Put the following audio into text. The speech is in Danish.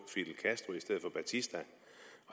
batista